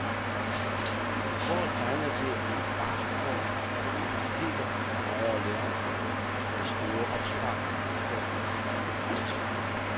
Året tegner til at blive et barskt år for universiteter og højere læreanstalter med store opsparinger af statens bevillingskroner.